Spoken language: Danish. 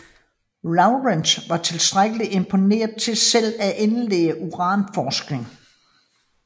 Lawrence var tilstrækkelig imponeret til selv at indlede uranforskning